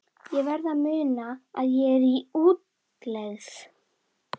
Ég verð að muna að ég er í útlegð.